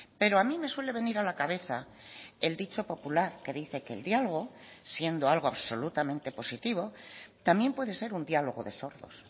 pero a mí me suele venir a la cabeza el dicho popular que dice que el diálogo siendo algo absolutamente positivo también puede ser un diálogo de sordos